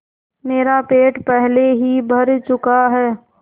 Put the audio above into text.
मेरा पेट पहले ही भर चुका है